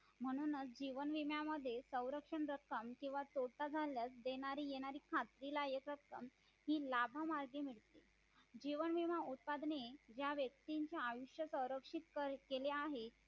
म्हणूनच जीव विम्या मध्ये सरंक्षण रक्कम किव्वा तोटा झाल्यास देणारी येणारी खात्रीला येत असतात हि लाभ मार्गे मिळते जीवन विमा उत्पादने त्या व्यक्तीचेआयुष्य संरक्षित केले आहे